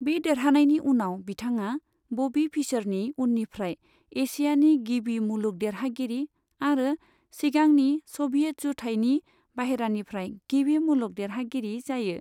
बे देरहानायनि उनाव, बिथाङा बबी फिशरनि उननिफ्राय एसियानि गिबि मुलुग देरहागिरि आरो सिगांनि स'भियेट जुथाइनि बाहेरानिफ्राय गिबि मुलुग देरहागिरि जायो।